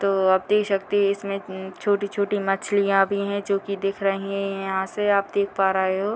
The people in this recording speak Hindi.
तो आप देख सकते है इसमें उम्म छोटी-छोटी मछलियाँ भी हैं जो की दिख रही हैं यहाँ से आप देख पा रहे हो।